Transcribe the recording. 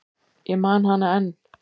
Ég man hana enn.